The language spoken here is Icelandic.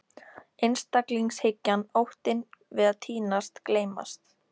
Einstaklingshyggjan, óttinn við að týnast, gleymast.